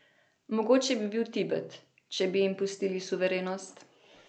Mogoče bi bil Tibet, če bi jim pustili suverenost.